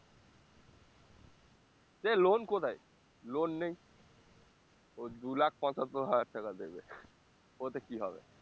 সে loan কোথায় loan নেই ওই দু lakh পচাঁত্তর হাজার টাকা দেবে ওতে কি হবে?